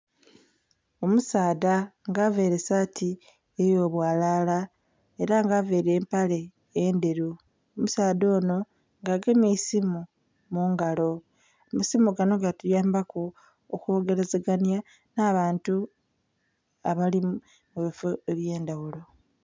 Omusaadha nga avaire saati eyobwalala era nga avaire empale endheru, omusaadha ono nga agemye eisimu mungalo. Amasimu gano gatuyambaku okwogerazaganya n'abantu abali mubifo ebyendhaghulo.